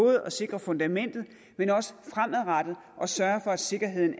at sikre fundamentet men også for fremadrettet at sørge for at sikkerheden